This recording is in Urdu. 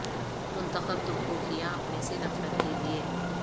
منتخب تم کو کیا اپنے سے نفرت کے لیئے